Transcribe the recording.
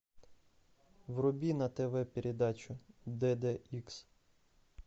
вруби на тв передачу д д икс